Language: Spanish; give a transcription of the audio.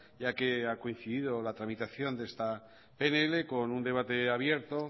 ya que ha coincidido la tramitación de esta pnl con un debate abierto